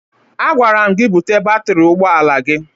Agwara m gị bute batịrị ụgbọala gị!